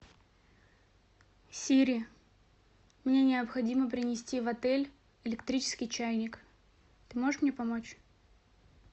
сири мне необходимо принести в отель электрический чайник ты можешь мне помочь